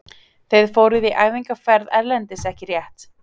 Þið fóruð í æfingaferð erlendis ekki rétt?